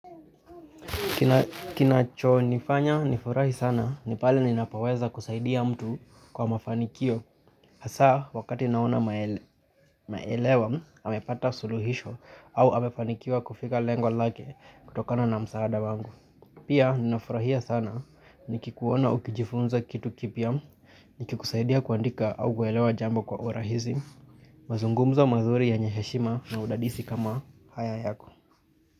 Kinachonifanya nifurahi sana ni pale ninapoweza kusaidia mtu kwa mafanikio Hasaa wakati naona maelewa amepata suluhisho au amefanikiwa kufika lengo lake kutokana na msaada wangu Pia ninafurahia sana nikikuona ukijifunza kitu kipya nikikusaidia kuandika au kuelewa jambo kwa urahizi mazungumzo mazuri yenye heshima na udadisi kama haya yako.